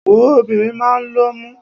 Wòó, obìnrin máa ń lọ́mú.